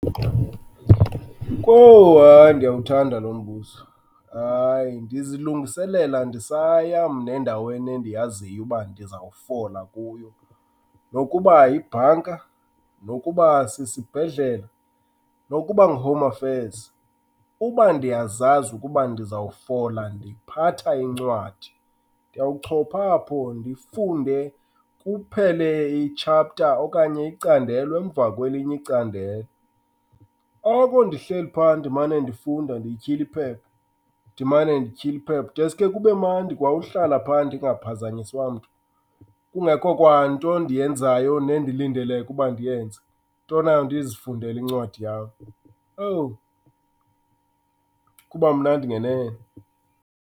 Kowu, hayi ndiyawuthanda lo mbuzo. Hayi, ndizilungiselela ndisaya mna endaweni endiyaziyo uba ndizawufola kuyo. Nokuba yibhanka, nokuba sisibhedlele, nokuba nguHome Affairs, uba ndiyazazi ukuba ndizawufola ndiphatha incwadi. Ndiyawuchopha apho ndifunde kuphele i-chapter okanye icandelo emva kwelinye icandelo. Oko ndihleli phaa, ndimane ndifunda ndityhila iphepha, ndimane ndityhila iphepha, deske kube mandi kwa uhlala phaa ndingaphazanyiswa mntu. Kungekho kwanto endiyenzayo nendilindeleke uba ndiyenze, into nayo ndizifundeli ncwadi yam. Owu, kuba mnandi ngenene.